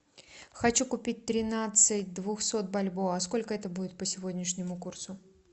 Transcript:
хочу купить тринадцать двухсот бальбоа сколько это будет по сегодняшнему курсу